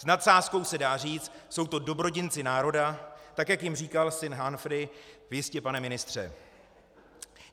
S nadsázkou se dá říci, jsou to dobrodinci národa, tak jak jim říkal Sir Humphry v Jistě, pane ministře.